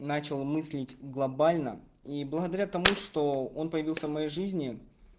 начал мыслить глобально и благодаря тому что он появился в моей жизни